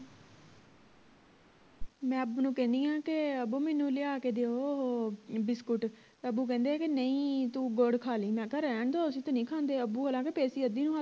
ਮੈਂ ਅੱਬੂ ਨੂੰ ਕਹਿਣੀ ਆ ਕੇ ਅੱਬੂ ਮੈਨੂੰ ਲਿਆ ਕੇ ਦੇਉ ਓਹੋ ਬਿਸਕੁਟ ਅੱਬੂ ਕਹਿੰਦੇ ਕਿ ਨਹੀਂ ਤੂੰ ਗੁੜ ਖਾ ਲਈ ਮੈਂ ਕਿਹਾ ਰਹਿਣ ਦੋ ਅਸੀਂ ਤੇ ਨਹੀਂ ਖਾਂਦੇ ਅੱਬੂ ਅਲਗ ਪੇਸੀ